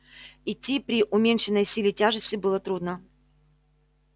идти при уменьшенной силе тяжести было трудно